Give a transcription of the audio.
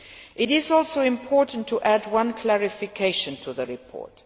It is also important to add one clarification to the report.